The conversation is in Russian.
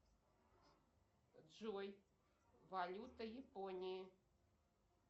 джой валюта японии